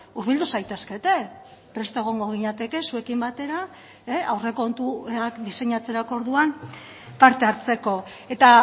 hurbildu zaitezkete prest egongo ginateke zuekin batera aurrekontuak diseinatzerako orduan parte hartzeko eta